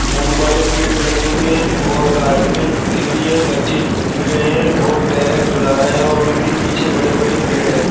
फूल वाड़े पेड़ लगे हुए हैं जो और गार्डन में झूले भी हैं। बच्चे झूल भी रहे हैं और पेरेट्स झुला रहे हैं और उनके पीछे बड़े-बड़े पेड़ है।